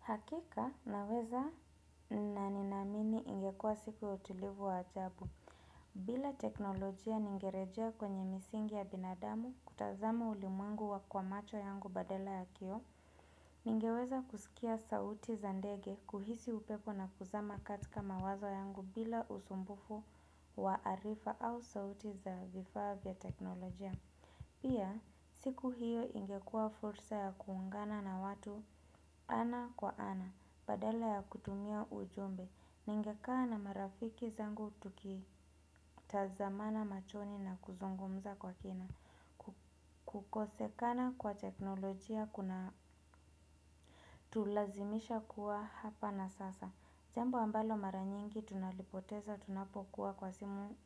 Hakika, naweza na ninaamini ingekua siku ya utulivu wa ajabu. Bila teknolojia ningerejea kwenye misingi ya binadamu kutazama ulimwengu wa kwa macho yangu badala ya kioo, ningeweza kusikia sauti za ndege kuhisi upepo na kuzama katika mawazo yangu bila usumbufu wa arifa au sauti za vifaa vya teknolojia. Pia, siku hiyo ingekua fursa ya kuungana na watu, ana kwa ana. Badala ya kutumia ujumbe, ninge kaa na marafiki zangu tuki tazamana machoni na kuzungumza kwa kina. Kukose kana kwa teknolojia kuna tulazimisha kuwa hapa na sasa. Jambo ambalo maranyingi tunalipoteza tunapokuwa kwa simu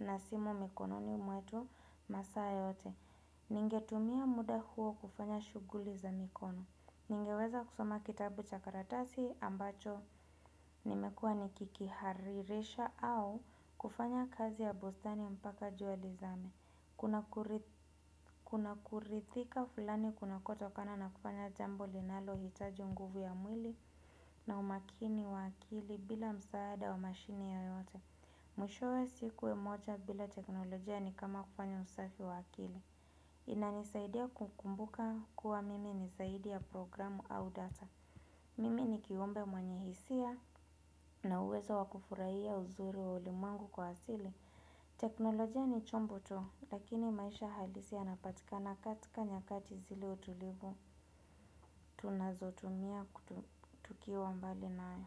na simu mikono ni mwetu, masaa yote. Ningetumia muda huo kufanya shughuli za mikono. Ningeweza kusoma kitabu chakaratasi ambacho nimekua nikiki haririsha au, kufanya kazi ya bustani mpaka jua lizame. Kuna kurithika fulani kuna kotokana na kufanya jambo linalo hitaji uguvu ya mwili na umakini wa akili bila msaada wa mashine ye yote. Mwishowe sikuwe moja bila teknolojia ni kama kufanya usafi wa akili. Inanisaidia kukumbuka kuwa mimi nizaidi ya programu au data. Mimi ni kiumbe mwenye hisia na uwezo wakufurahia uzuri wa ulimwengu kwa asili. Teknolojia ni chombo tu. Lakini maisha halisi yanapatikana katika nyakati zile utulivu tunazotumia tukiwa mbali nae.